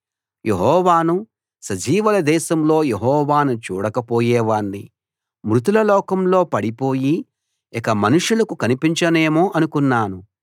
యెహోవాను సజీవుల దేశంలో యెహోవాను చూడక పోయేవాణ్ణి మృతుల లోకంలో పడిపోయి ఇక మనుషులకు కనిపించనేమో అనుకున్నాను